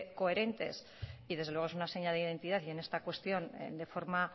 coherentes y desde luego es una seña de identidad y en esta cuestión de forma